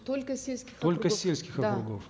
только сельских только сельских да округов